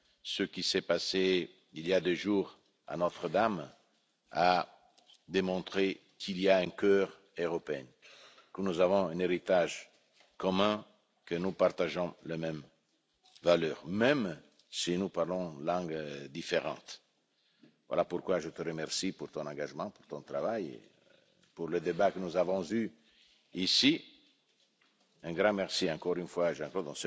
Ce qui s'est passé il y a deux jours à Notre Dame a démontré qu'il y a un cœur européen, que nous avons un héritage commun, que nous partageons les mêmes valeurs. Et cela même si nous parlons des langues différentes. Voilà pourquoi je te remercie pour ton engagement, pour ton travail, pour les débats que nous avons eus ici. Un grand merci encore une fois, Jean Claude.